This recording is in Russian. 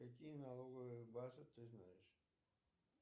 какие налоговые базы ты знаешь